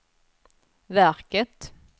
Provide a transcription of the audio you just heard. verket